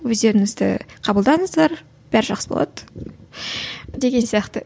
өздеріңізді қабылдаңыздар бәрі жақсы болады деген сияқты